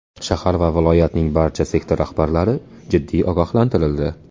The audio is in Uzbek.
Shahar va viloyatning barcha sektor rahbarlari jiddiy ogohlantirildi.